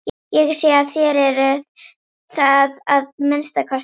Ég sé að þér eruð það að minnsta kosti.